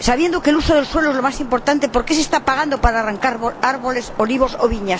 sabiendo que el uso del suelo es lo más importante, ¿por qué se está pagando para arrancar árboles, olivos o viñas?